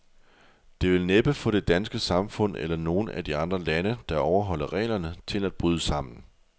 Det vil næppe få det danske samfund, eller nogen af de andre lande, der overholder reglerne, til at bryde sammen.